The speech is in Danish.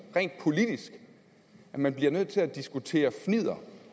rent politisk at man bliver nødt til at diskutere fnidder